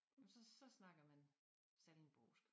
Så så snakker man sallingbosk